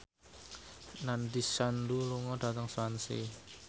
Nandish Sandhu lunga dhateng Swansea